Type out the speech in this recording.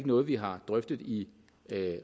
noget vi har drøftet i